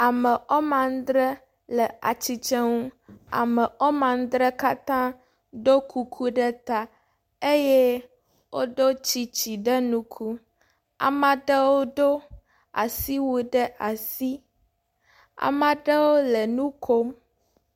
Ame wome adrɛ le atsitre ŋu. Ame wome adrɛ katã ɖo kuku ɖe ta eye wodo tsitsi ɖe ŋku. Ame aɖewo do asiwui ɖe asi. Ame aɖewo le nu kom.